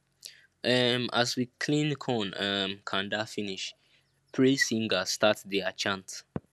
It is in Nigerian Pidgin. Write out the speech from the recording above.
um as we clean corn um kanda finish praise singers start dia chant